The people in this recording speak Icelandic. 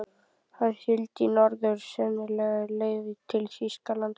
Hann sigldi í norður, sennilega á leið til Þýskalands.